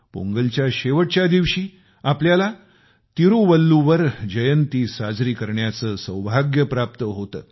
पोंगलच्या शेवटच्या दिवशी आपल्याला तिरूवल्लुवर जयंती साजरी करण्याचे सौभाग्य प्राप्त होते